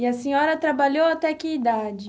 E a senhora trabalhou até que idade?